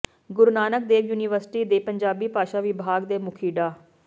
ਗੁਰੂ Nanak Dev university ਦੇ ਪੰਜਾਬੀ ਭਾਸ਼ਾ ਵਿਭਾਗ ਦੇ ਮੁਖੀ ਡਾ